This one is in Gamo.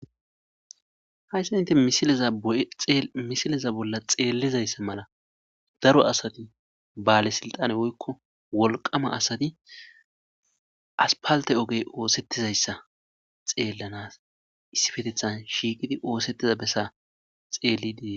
hayssa inte misileza bolla xeellizayssa mala daro asati baale siltane woykko wolqama asati aspalte ogey oosettizayssa xeellanas issi fetethan shiikidi oosettiza bessa xeellidiii